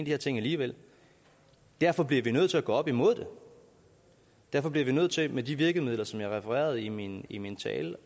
her ting alligevel derfor bliver vi nødt til at gå op imod det derfor bliver vi nødt til med de virkemidler som jeg refererede i min i min tale